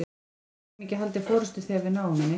Við getum ekki haldið forystu þegar við náum henni.